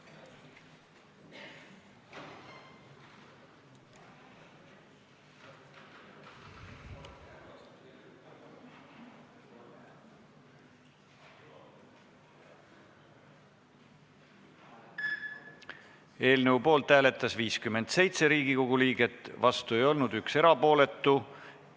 Hääletustulemused Eelnõu poolt hääletas 57 Riigikogu liiget, vastu ei olnud keegi, 1 oli erapooletu.